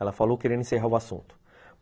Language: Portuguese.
Ela falou querendo encerrar o assunto.